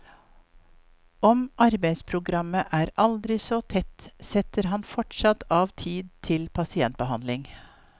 Om arbeidsprogrammet er aldri så tett, setter han fortsatt av tid til pasientbehandling.